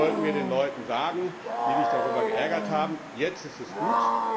Das sollten wir den Leuten sagen, die sich darüber geärgert haben. Jetzt ist es gut.